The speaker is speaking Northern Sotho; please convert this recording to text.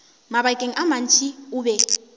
mabakeng a mantši o be